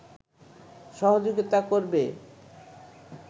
সহযোগিতা করবে